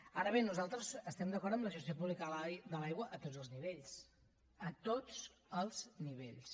ara bé nosaltres estem d’acord amb la gestió pública de l’aigua a tots els nivells a tots els nivells